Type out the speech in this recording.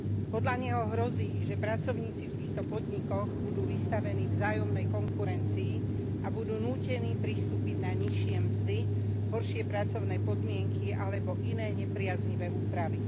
Podľa neho hrozí, že pracovníci v týchto podnikoch budú vystavení vzájomnej konkurencii a budú nútení pristúpiť na nižšie mzdy, horšie pracovné podmienky alebo iné nepriaznivé úpravy.